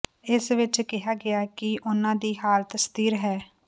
ਇਸ ਵਿੱਚ ਕਿਹਾ ਗਿਆ ਕਿ ਉਨ੍ਹਾਂ ਦੀ ਹਾਲਤ ਸਥਿਰ ਹੈ